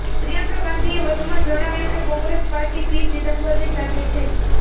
પ્રિયંકા ગાંધીએ વધુમાં જણાવ્યું કે કોંગ્રેસ પાર્ટી પી ચિદમ્બરની સાથે છે